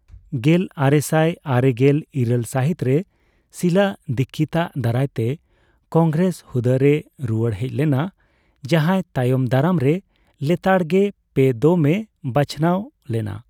ᱜᱮᱞ ᱟᱨᱮᱥᱟᱭ ᱟᱨᱮᱜᱮᱞ ᱤᱨᱟᱹᱞ ᱥᱟᱦᱤᱛ ᱨᱮ ᱥᱤᱞᱟ ᱫᱤᱠᱷᱤᱛᱟᱜ ᱫᱟᱨᱟᱭ ᱛᱮ ᱠᱚᱝᱜᱮᱨᱮᱥ ᱦᱩᱫᱟᱹ ᱨᱮᱭ ᱨᱩᱭᱟᱲ ᱦᱮᱡ ᱞᱮᱱᱟ, ᱡᱟᱦᱟᱭ ᱛᱟᱭᱚᱢ ᱫᱟᱨᱟᱢᱨᱮ ᱞᱮᱛᱟᱲ ᱜᱮ ᱯᱮ ᱫᱢ ᱮ ᱵᱟᱹᱪᱱᱟᱣ ᱞᱮᱱᱟ ᱾